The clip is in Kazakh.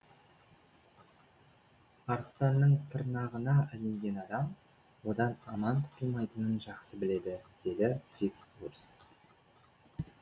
арыстанның тырнағына ілінген адам одан аман құтылмайтынын жақсы біледі деді фиц урс